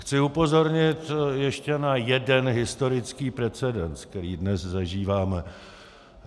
Chci upozornit ještě na jeden historický precedens, který dnes zažíváme.